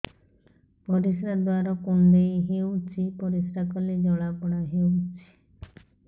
ପରିଶ୍ରା ଦ୍ୱାର କୁଣ୍ଡେଇ ହେଉଚି ପରିଶ୍ରା କଲେ ଜଳାପୋଡା ହେଉଛି